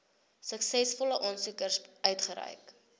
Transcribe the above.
suksesvolle aansoekers uitgereik